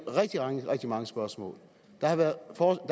rigtig mange spørgsmål der har været